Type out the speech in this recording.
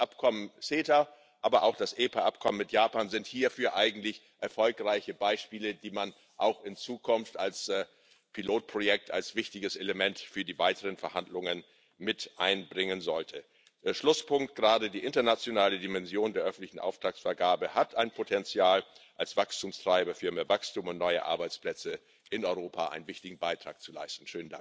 Und das Abkommen CETA, aber auch das WPA mit Japan sind hierfür eigentlich erfolgreiche Beispiele, die man auch in Zukunft als Pilotprojekte, als wichtiges Element für die weiteren Verhandlungen mit einbringen sollte. Schlusspunkt Gerade die internationale Dimension der öffentlichen Auftragsvergabe hat ein Potenzial, als Wachstumstreiber für mehr Wachstum und neue Arbeitsplätze in Europa einen wichtigen Beitrag zu leisten.